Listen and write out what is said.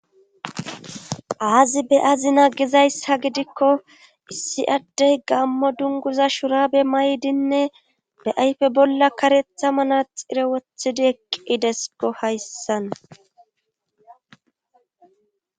aazi be azina gizaysha gidikko issi addey gammo dunguza shurabe may7dinne be ayfe bolla karetha mana xire wothidi eqqidesko hayssan